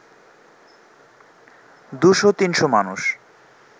২০০-৩০০ মানুষ